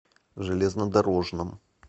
железнодорожном